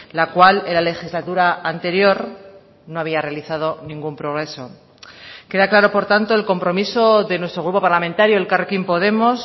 la cual en la legislatura anterior no había realizado ningún progreso queda claro por tanto el compromiso de nuestro grupo parlamentario elkarrekin podemos